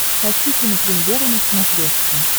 хочу кинопремьера на смотрешке